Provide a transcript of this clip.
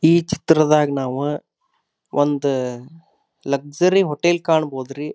ಈ ಚಿತ್ರದಗ ನಾವು ಒಂದು ಲಕ್ಸಾರಿ ಹೋಟೆಲ್ ಕಾಣಬೋದು ರೀ.